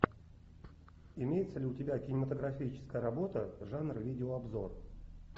имеется ли у тебя кинематографическая работа жанра видео обзор